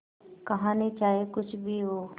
कहानी चाहे कुछ भी हो